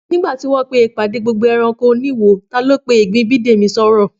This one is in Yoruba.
Nígbà tí wọ́n pé ìpàdé gbogbo ẹranko oníwo, ta ló pe ti ìgbín Bídèmí sọ́rọ̀?